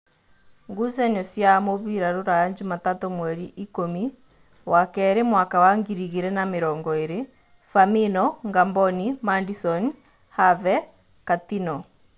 Ngucanio cia mũbira Ruraya Jumatatũ mweri ikũmi wakeeri mwaka wa ngiri igĩrĩ na namĩrongoĩrĩ: Famino, Ngamboni, Madisoni, Have, Katino